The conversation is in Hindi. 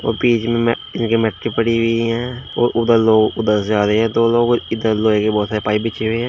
बीच में इनके मिट्टी पड़ी हुई है और उधर लोग उधर जा रहे हैं दो लोग पाइप बीछी हुई है।